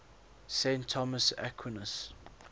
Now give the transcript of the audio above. saint thomas aquinas